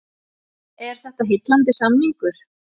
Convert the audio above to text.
Er þetta heillandi samningur?